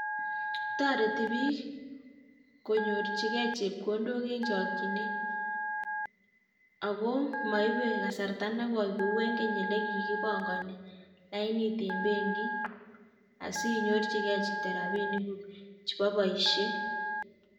Toretii biik konyorchigei chepkondok en chokchinet ako moibe kasarta nekoi kou en keny olikinyek elekikipongonii lainit en Benoit asinyorchigei chito rabinikuk chebo boishiet